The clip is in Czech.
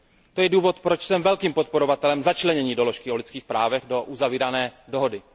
To je důvod, proč jsem velkým podporovatelem začlenění doložky o lidských právech do uzavírané dohody.